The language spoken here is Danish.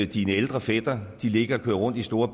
dine ældre fætre ligger og kører rundt i store